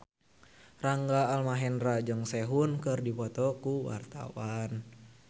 Rangga Almahendra jeung Sehun keur dipoto ku wartawan